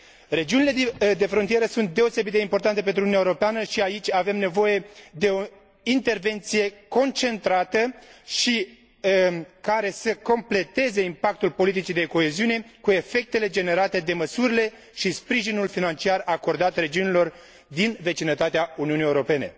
Regiunile de frontieră sunt deosebit de importante pentru Uniunea Europeană și aici avem nevoie de o intervenție concentrată și care să completeze impactul politicii de coeziune cu efectele generate de măsurile și sprijinul financiar acordat regiunilor din vecinătatea Uniunii Europene.